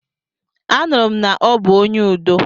Anụrụ m na ọ bụ onye udo.